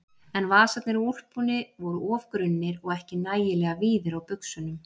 En vasarnir á úlpunni voru of grunnir og ekki nægilega víðir á buxunum.